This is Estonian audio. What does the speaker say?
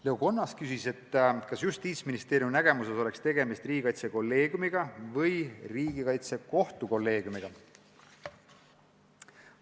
Leo Kunnas küsis, kas Justiitsministeeriumi nägemuses oleks tegemist riigikaitsekolleegiumiga või riigikaitsekohtu kolleegiumiga.